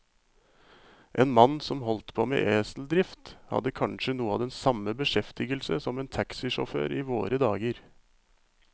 En mann som holdt på med eseldrift, hadde kanskje noe av den samme beskjeftigelse som en taxisjåfør i våre dager.